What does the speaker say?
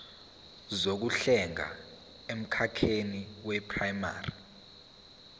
zokuhlenga emkhakheni weprayimari